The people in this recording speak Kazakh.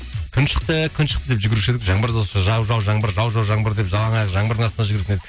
күн шықты күн шықты деп жүгіруші едік жаңбыр жауса жау жау жаңбыр жау жау жаңбыр деп жалаң аяқ жаңбырдың астында жүгіретін едік